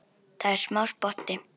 Það er smá spotti.